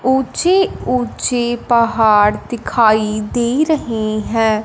ऊंची ऊंची पहाड़ दिखाई दे रहे है।